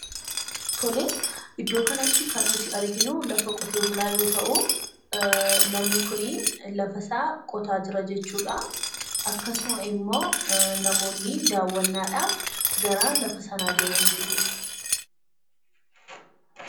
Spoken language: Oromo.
Tole, iddoo kanatti kan nuyi arginu lafa Qote- bulaa yoo ta'u ;namni kun lafasaa qotaa jira jechuudha. Akkasumas immo namoonni daawwannaadhaaf gara lafa sanaa deemaniitu jiru.